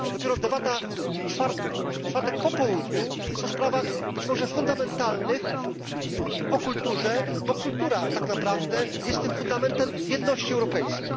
Dopiero debata w czwartek po południu jest o sprawach być może fundamentalnych o kulturze, bo kultura tak naprawdę jest tym fundamentem jedności europejskiej.